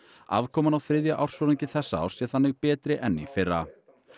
afkoman á þriðja ársfjórðungi þessa árs sé þannig betri en í fyrra